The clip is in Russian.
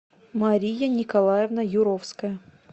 мария николаевна юровская